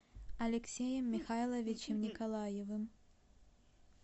алексеем михайловичем николаевым